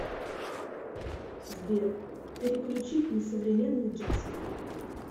сбер переключить на современный джаз